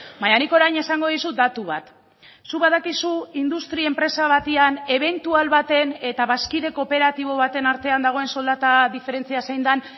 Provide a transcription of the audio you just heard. baina nik orain esango dizut datu bat zuk badakizu industria enpresa batean ebentual baten eta bazkide kooperatibo baten artean dagoen soldata diferentzia zein den